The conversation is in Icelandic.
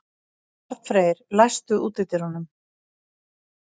Arnfreyr, læstu útidyrunum.